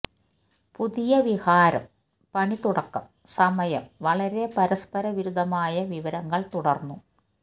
പുതിയ വിഹാരം പണി തുടക്കം സമയം വളരെ പരസ്പരവിരുദ്ധമായ വിവരങ്ങൾ തുടർന്നു